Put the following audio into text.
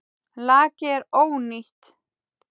Lakið er ónýtt!